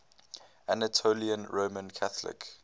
anatolian roman catholic